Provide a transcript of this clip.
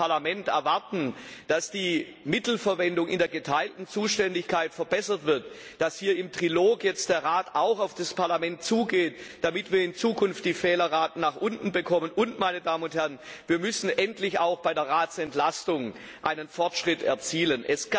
Wir als Parlament erwarten, dass die Mittelverwendung in der geteilten Zuständigkeit verbessert wird, dass hier im Trilog jetzt der Rat auf das Parlament zugeht, damit wir in Zukunft die Fehlerraten nach unten bekommen. Denn wir müssen endlich auch bei der Ratsentlastung einen Fortschritt erzielen.